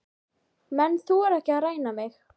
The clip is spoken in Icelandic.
Menn þora ekki að ræna mig.